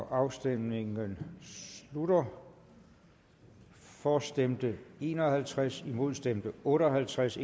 afstemningen slutter for stemte en og halvtreds imod stemte otte og halvtreds